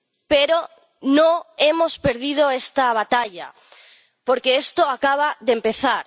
Pero no hemos perdido esta batalla, porque esto acaba de empezar.